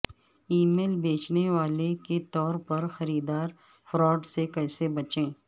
ای میل بیچنے والے کے طور پر خریدار فراڈ سے کیسے بچیں